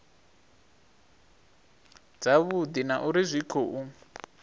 dzavhudi na uri zwi khou